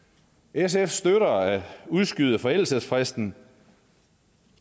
sf støtter at udskyde forældelsesfristen